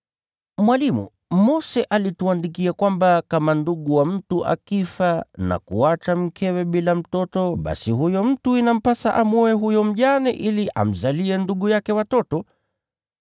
“Mwalimu, Mose alituandikia kwamba kama ndugu wa mtu akifa na kumwacha mkewe bila mtoto, basi huyo mtu inampasa amwoe huyo mjane ili amzalie ndugu yake watoto.